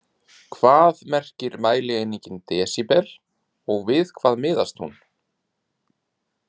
Hvað merkir mælieiningin desíbel og við hvað miðast hún?